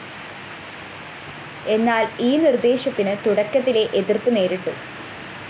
എന്നാല്‍ ഈ നിര്‍ദ്ദേശത്തിന് തുടക്കത്തിലേ എതിര്‍പ്പ് നേരിട്ടു